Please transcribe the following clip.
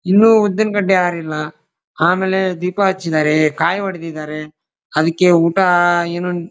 ಇನ್ನು ಉದ್ದಿನ್ ಕಡ್ಡಿ ಆರಿಲ್ಲ ಆಮೆಲೆ ದೀಪ ಹಚ್ಚಿದ್ದಾರೆ ಕಾಯಿ ಹೊಡ್ದಿದ್ದಾರೆ ಅದಕ್ಕೆ ಊಟಾ ಏನೂನ್ --